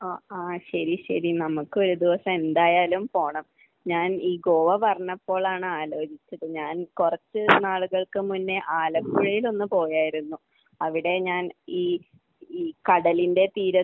അഹ്. ആഹ്. ശരി. ശരി. നമുക്ക് ഒരു ദിവസം എന്തായാലും പോകണം. ഞാൻ ഈ ഗോവ പറഞ്ഞപ്പോഴാണ് ആലോചിച്ചത്. ഞാൻ കുറച്ച് നാളുകൾക്ക് മുന്നേ ആലപ്പുഴയിൽ ഒന്ന് പോയായിരുന്നു. അവിടെ ഞാൻ ഈ കടലിന്റെ തീരത്ത്